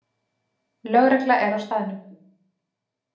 Lögregla er á staðnum